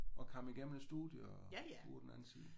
Og kom igennem et studie og ud på den anden side?